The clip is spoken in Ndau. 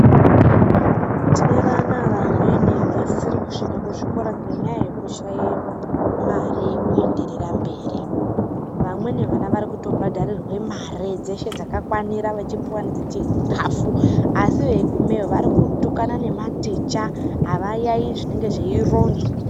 Tine vana vamweni vasiri kusvika kuzvikora ngenyaya yekushaye mare yekuenderera mberi. Vamweni vana vari kutobhadharirwe mare dzeshe dzakafanira vechipuwa nedzechikhafu, asi veigumeyo vari kutukana nematicha, avayaiyi zvinenge zveironzwa.